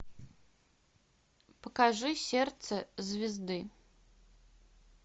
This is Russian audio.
покажи сердце звезды